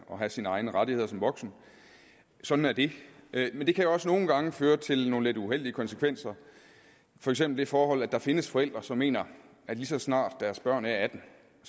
have sine egne rettigheder som voksen sådan er det men det kan jo også nogle gange føre til nogle lidt uheldige konsekvenser for eksempel det forhold at der findes forældre som mener at lige så snart deres børn er atten